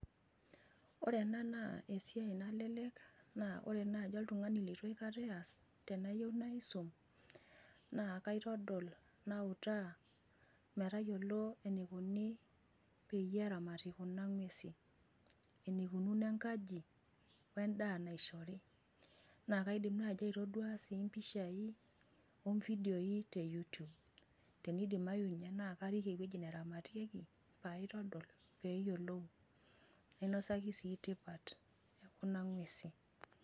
Oore eena naa esiai nalelek, naa oore naaji oltung'ani leitu naaji iaas, tenayieu naisum, naa kaitodol, nautaa, metayiolo eneikoni peyie eramati kuuna ng'ewesi. Eneikununo enkaji wen'daa naishori. Naa kaidim naaji aitoduaa sii impisha, oo vidioi, ee you tube. Teneidimau ninye naa karik ewueji neramatieki, paitodol, pee eyiolou nainosaki sii tipat e kuuna ng'ewesi.